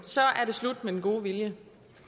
er det slut med den gode vilje